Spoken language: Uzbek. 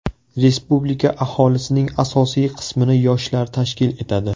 Respublika aholisining asosiy qismini yoshlar tashkil etadi.